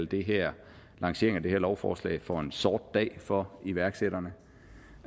det her lovforslag for en sort dag for iværksætterne